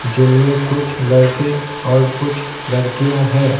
जिनमें कुछ लड़के और कुछलड़कियां हैं।